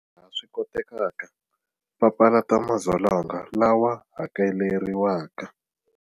Laha swi kotekaka, papalatani magondzo lawa hakeleriwaka.